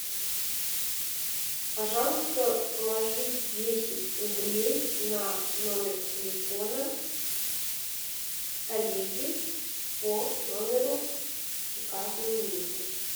пожалуйста положи десять рублей на номер телефона коллеги по номеру указанному ниже